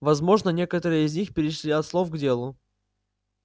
возможно некоторые из них перешли от слов к делу